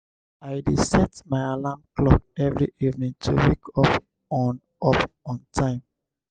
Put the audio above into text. i dey set my alarm clock every evening to wake up on up on time.